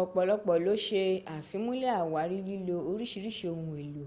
ọ̀pọ̀lọpọ̀ ló sé àfimúnlẹ̀ àwárí lílo orísìírísìí ohun èlò